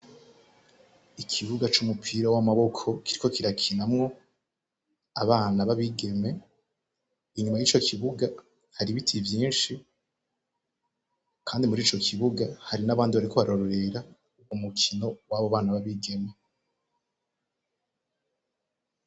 Ikibuga c'umupira w'amaboko kiriko kirakinamwo abana b'abigeme, inyuma y'ico kibuga hari ibiti vyinshi, kandi muri ico kibuga hari n'abandi bariko bararorera umukino w'abo bana b'abigeme.